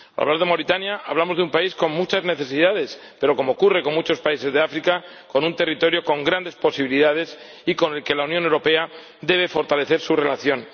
Al hablar de Mauritania hablamos de un país con muchas necesidades, pero como ocurre con muchos países de África, también de un territorio con grandes posibilidades y con el que la Unión Europea debe fortalecer su relación.